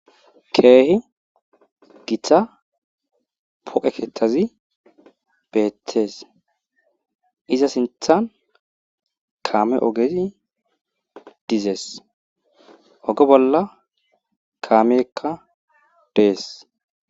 Keehi githa pooqe keethazi beettees iza sinthan kaame ohgezi dezes oge bolla kaaameykka dees.